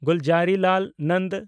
Gulzarilal Nanda